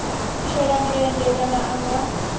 shela mulenzhe kana a nga